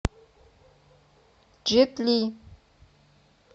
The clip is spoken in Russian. джет ли